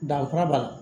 Danfara b'a la